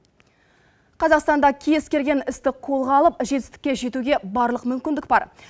қазақстанда кез келген істі қолға алып жетістікке жетуге барлық мүмкіндік бар